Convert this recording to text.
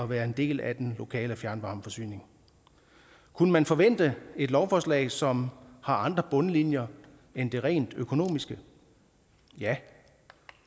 være en del af den lokale fjernvarmeforsyning kunne man forvente et lovforslag som har andre bundlinjer end det rent økonomiske ja